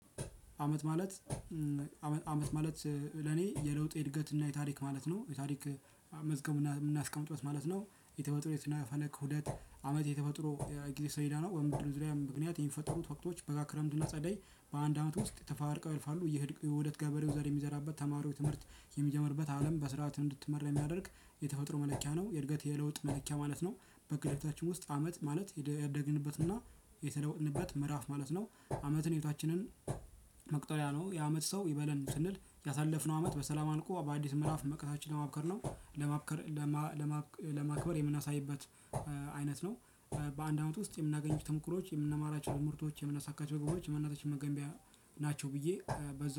አመት ማለት ለኔ የለውጥ የእድገት እና የታሪክ ማለት ነው የታሪክ መዝገቡን የምናስቀምጥበት ማለት ነው። የተወጥኖ የስነፈለግ ሁደት አመት የተፈጥሮ ጊዜ ሰሌዳ ነው በምድር ዙሪያ ምክንያት የሚፈጠሩት ወቅቶች በጋ ክረምትና ጸደይ በአንድ አመት ውስጥ ተፈራርቀው ይህ የዉደት ገበሬው ዘር የሚዘራበት ተማሪው ትምህርት የሚጀምርበት አለም በስርዓት እንድትመራ የሚያደርግ የተፈጥሮ መለኪያ ነው። የእድገት የለውጥ መለኪያ ማለት ነው። በግዴታችን ውስጥ አመት ማለት ያደግንበትና የተለወጥንበት ምዕራፍ ማለት ነው። አመትን ህይወታችንን መቁጠሪያ ነው የአመት ሰው ይበለን ስንል ያሳለፍነው አመት በሰላም አልቆ በአዲስ ምእራፍ መቅረታችን ለማብከር ነው። ለማብከር ለማ ለማክበር የምናሳይበት አይነት ነው። በአንድ አመት ውስጥ የምናገኝ ተሞክሮች የምንማራቸው ትምርቶች የምናሳካቸው ግቦች የማንነታችን መገንቢያ ናቸው። ብዬ በዛ